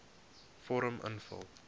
vorm invul